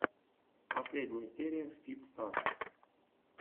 последняя серия фит старс